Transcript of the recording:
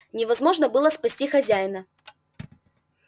невозможно было спасти хозяина